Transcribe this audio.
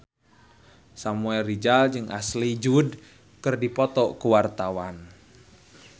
Samuel Rizal jeung Ashley Judd keur dipoto ku wartawan